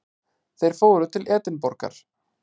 Þeir fóru til Edinborgar.